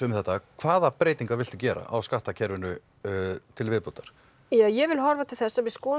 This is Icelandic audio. hvaða breytingar viltu gera á skattakerfinu til viðbótar ég vil horfa til þess að við skoðum